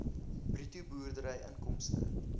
bruto boerdery inkomste